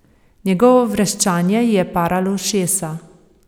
Njegovo vreščanje ji je paralo ušesa.